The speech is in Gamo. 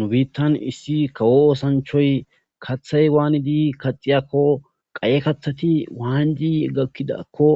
Nu biittan issi kawo oosanchoy kaththay waanidi kaxiyakko qaye kathati waanji gakkidakko